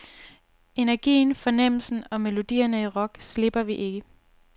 Energien, fornemmelsen og melodierne i rock, slipper vi ikke.